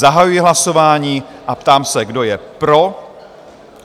Zahajuji hlasování a ptám se, kdo je pro?